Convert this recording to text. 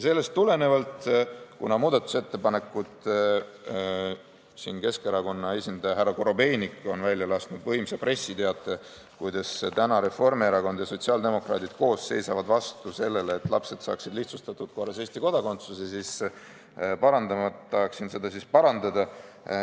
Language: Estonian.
Sellest tulenevalt ja kuna Keskerakonna esindaja härra Korobeinik on välja lasknud võimsa pressiteate, kuidas täna Reformierakond ja sotsiaaldemokraadid koos seisavad vastu sellele, et lapsed saaksid lihtsustatud korras Eesti kodakondsuse, tahaksin parandada.